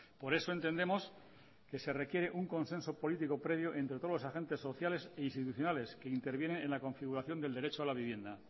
por eso entendemos que se requiere un consenso político previo entre todos los agentes sociales e institucionales que interviene en la configuración del derecho a la vivienda